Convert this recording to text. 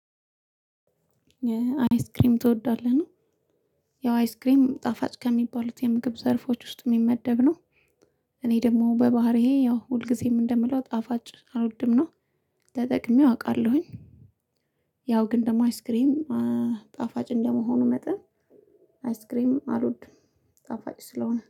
አያስክሬም ትወዳለህ ነው ያው አያስክሬም ጣፋጭ ከሚባሉት የምግብ ዘርፎች ውስጥ ሚመደብ ነው። እኔ ደግሞ በባህሪዬ ያው ሁልጊዜም እንደምለው ጣፋጭ አልወድም ነው። ተጠቅሜው አውቃለሁኝ። ያው ግን ደግሞ አያስክሬም ጣፋጭ እንደመሆኑ መጠን አያስክሬም አልወድም ጣፋጭ ስለሆነ